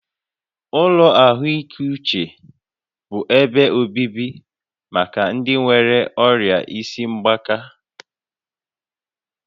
Ụlọ ahụike uche bụ ebe obibi maka ndị nwéré ọrịa isi mgbaka